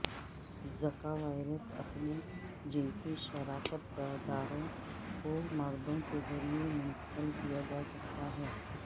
زکا وائرس اپنے جنسی شراکت داروں کو مردوں کے ذریعہ منتقل کیا جا سکتا ہے